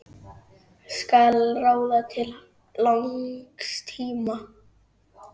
Skal ráða til langs tíma?